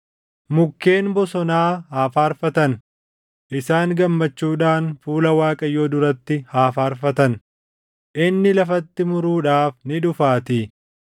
Mukkeen bosonaa haa faarfatan; isaan gammachuudhaan fuula Waaqayyoo duratti haa faarfatan; inni lafatti muruudhaaf ni dhufaatii.